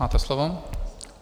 Máte slovo.